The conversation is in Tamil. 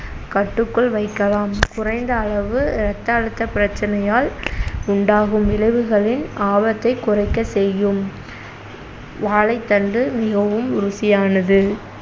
கட்டுக்குள் வைக்கலாம் குறைந்த அளவு ரத்த அழுத்த பிரச்சனையால் உண்டாகும் விளைவுகளின் ஆபத்தை குறைக்க செய்யும் வாழைத்தண்டு மிகவும் ருசியானது